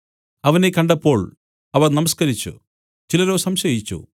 അവനെ കണ്ടപ്പോൾ അവർ നമസ്കരിച്ചു ചിലരോ സംശയിച്ചു